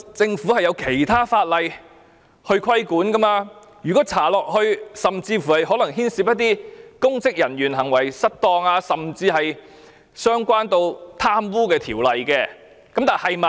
政府受法例規管，如果調查下去，甚至可能會牽涉一些公職人員行為失當，關係到貪污的問題。